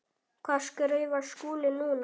Hvað skrifar Skúli núna?